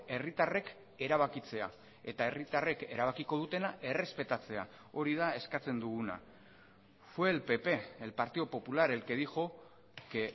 herritarrek erabakitzea eta herritarrek erabakiko dutena errespetatzea hori da eskatzen duguna fue el pp el partido popular el que dijo que